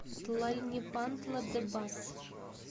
тлальнепантла де бас